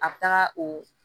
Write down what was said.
A bɛ taga o